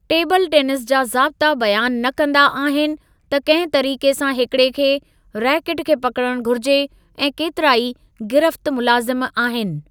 Table tennis जा ज़ाबता बयानु न कंदा आहिनि त कंहिं तरीक़े सां हिकिड़े खे रैकेट खे पकिड़ण घुरिजे ऐं केतिराई गिरफ़्त मुलाज़िम आहिनि।